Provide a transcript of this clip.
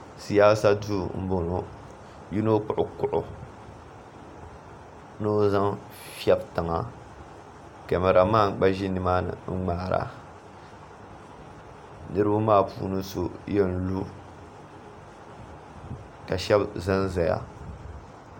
siyaasa duu m-bɔŋɔ yino kpuɣi kuɣu ni o zaŋ fiɛbi tiŋa kamaramani gba ʒi ni maani n-ŋmaara niriba maa puuni so yɛn lu ka shɛba zanzaya